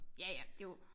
Ja ja det jo